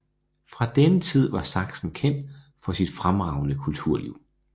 Fra denne tid var Sachsen kendt for sit fremragende kulturliv